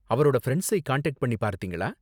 அவரோட ஃபிரண்ட்ஸை காண்டாக்ட் பண்ணி பார்த்தீங்களா?